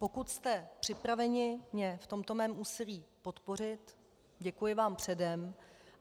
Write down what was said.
Pokud jste připraveni mě v tomto mém úsilí podpořit, děkuji vám předem.